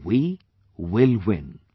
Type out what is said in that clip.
And we will win